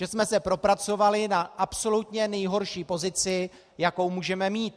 Že jsme se propracovali na absolutně nejhorší pozici, jakou můžeme mít?